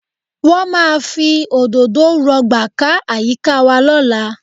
Wọ́n máa fi òdòdó rọ̀gbà ká àyíká wa lọ́la